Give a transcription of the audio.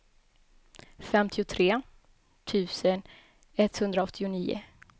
femtiotre tusen etthundraåttionio